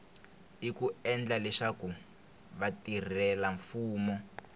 i ku endla leswaku vatirhelamfumo